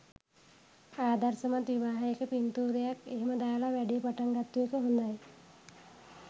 ආදර්ශමත් විවාහයක පින්තූරයක් එහෙම දාල වැඩේ පටන්ගත්තු එක හොඳයි.